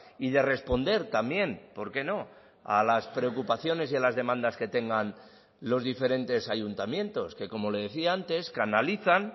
y de responder también porque no a las preocupaciones y a las demandas que tengan los diferentes ayuntamientos que como le decía antes canalizan